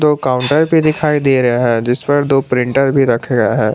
दो काउंटर भी दिखाई दे रहा है जिस पर दो प्रिंटर भी रखा है।